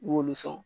I b'olu sɔn